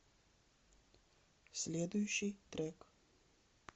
следующий трек